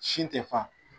Sin te fa